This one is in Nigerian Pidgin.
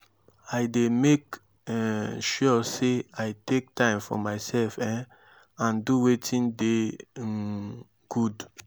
i dey make um sure say i take time for myself um and do wetin dey um good.